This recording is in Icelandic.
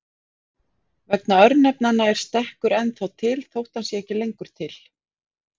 Vegna örnefnanna er stekkur ennþá til þótt hann sé ekki lengur til.